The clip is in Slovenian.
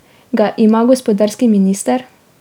Ga ima gospodarski minister?